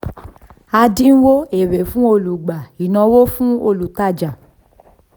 àdínwó: èrè fún olùgbà ìnáwó fún olùtajà